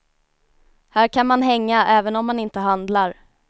Här kan man hänga även om man inte handlar.